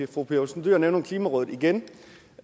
fru pia olsen dyhr nævner nu klimarådet igen